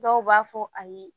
Dɔw b'a fɔ ayi